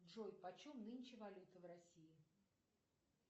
джой почем нынче валюта в россии